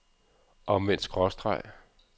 omvendt skråstreg